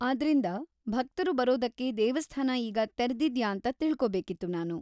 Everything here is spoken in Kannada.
ಆದ್ರಿಂದ, ಭಕ್ತರು ಬರೋದಕ್ಕೆ ದೇವಸ್ಥಾನ ಈಗ ತೆರ್ದಿದ್ಯಾ ಅಂತ ತಿಳ್ಕೋಬೇಕಿತ್ತು ನಾನು.